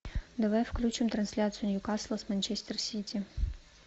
давай включим трансляцию ньюкасла с манчестер сити